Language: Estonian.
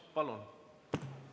Palun!